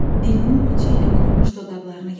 Dilinin ucu ilə qurumuş dodaqlarını yaladı.